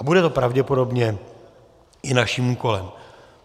A bude to pravděpodobně i naším úkolem.